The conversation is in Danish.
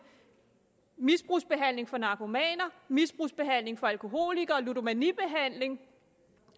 misbrugsbehandling for narkomaner misbrugsbehandling for alkoholikere og ludomanibehandling